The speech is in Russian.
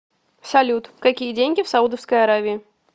салют какие деньги в саудовской аравии